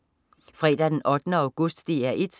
Fredag den 8. august - DR 1: